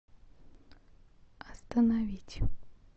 остановить